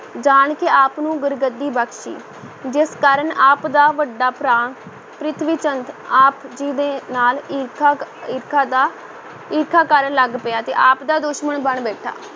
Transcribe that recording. ਜਾਣ ਕੇ ਆਪ ਨੂੰ ਗੁਰਗੱਦੀ ਬਖਸ਼ੀ, ਜਿਸ ਕਾਰਨ ਆਪ ਦਾ ਵੱਡਾ ਭਰਾ ਪ੍ਰਿਥੀ ਚੰਦ ਆਪ ਜੀ ਦੇ ਨਾਲ ਈਰਖਾ ਕ~ ਈਰਖਾ ਦਾ, ਈਰਖਾ ਕਰਨ ਲੱਗ ਪਿਆ ਤੇ ਆਪ ਦਾ ਦੁਸ਼ਮਣ ਬਣ ਬੈਠਾ।